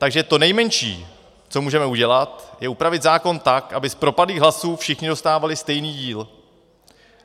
Takže to nejmenší, co můžeme udělat, je upravit zákon tak, aby z propadlých hlasů všichni dostávali stejný díl.